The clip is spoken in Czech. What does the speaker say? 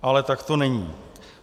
Ale tak to není.